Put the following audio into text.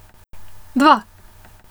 Dva!